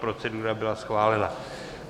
Procedura byla schválena.